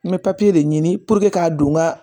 N bɛ de ɲini k'a don n ga